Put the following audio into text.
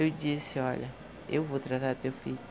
Eu disse, olha, eu vou tratar do teu filho.